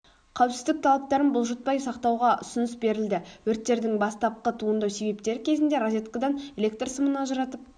қауіпсіздік талаптарын бұлжытпай сақтауға ұсыныс берілді өрттердің бастапқы туындау себептері кезінде розеткідан электр сымын ажыратып